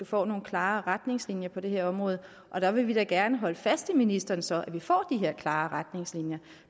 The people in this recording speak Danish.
får nogle klare retningslinjer på det her område og der vil vi da gerne holde fast i ministeren så vi får de her klare retningslinjer